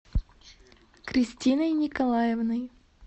кристиной николаевной